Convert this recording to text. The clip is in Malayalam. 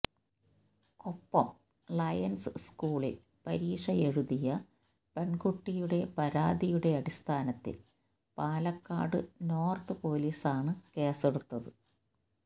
കൊപ്പം ലയൺസ് സ്കൂളിൽ പരീക്ഷയെഴുതിയ പെൺകുട്ടിയുടെ പരാതിയുടെ അടിസ്ഥാനത്തിൽ പാലക്കാട് നോർത്ത് പൊലീസാണ് കേസെടുത്തത്